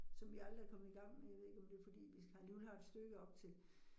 Som vi aldrig er kommet i gang med, jeg ved ikke om det fordi vi har alligevel har et stykke op til